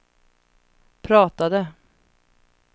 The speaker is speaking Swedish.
pratade